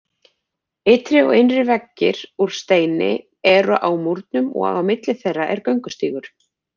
Ytri og innri veggir úr steini eru á múrnum og á milli þeirra er göngustígur.